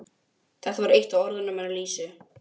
Þetta var eitt af orðunum hennar Lísu.